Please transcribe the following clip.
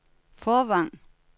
Fårvang